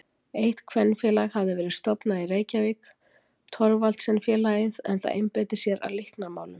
Eitt kvenfélag hafði verið stofnað í Reykjavík, Thorvaldsensfélagið, en það einbeitti sér að líknarmálum.